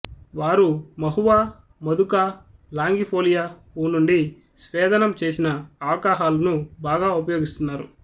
వారు mahua madhuca longifolia పువ్వు నుండి స్వేదనం చేసిన ఆల్కహాలును బాగా ఉపయోగిస్తున్నారు